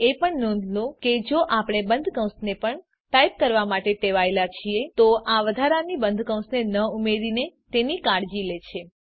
એ પણ નોંધ લો કે જો આપણે બંધ કૌંસને પણ ટાઈપ કરવા માટે ટેવાયેલા છીએ તો આ વધારાની બંધ કૌંસને ન ઉમેરીને તેની કાળજી લે છે